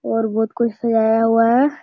और बहुत कुछ सजाया हुआ है।